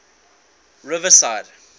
riverside